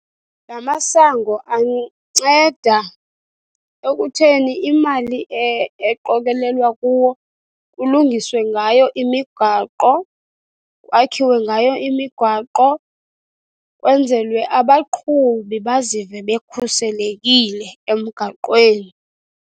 La masango anceda ekutheni imali eqokelelwa kuwo kulungiswe ngayo imigaqo, kwakhiwe ngayo imigwaqo kwenzelwe abaqhubi bazive bekhuselekile emgaqweni.